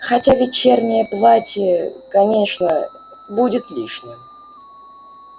хотя вечернее платье конечно будет лишним